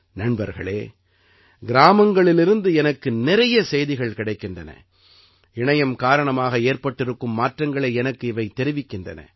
நண்பர்களே கிராமங்களிலிருந்து எனக்கு நிறைய செய்திகள் கிடைக்கின்றன இணையம் காரணமாக ஏற்பட்டிருக்கும் மாற்றங்களை எனக்கு இவை தெரிவிக்கின்றன